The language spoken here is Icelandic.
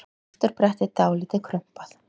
Afturbrettið dálítið krumpað.